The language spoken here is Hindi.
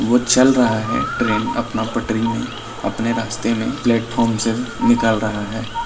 वो चल रहा है ट्रेन अपना पटरी में ‌ अपने रास्ते में प्लेटफार्म से निकल रहा है।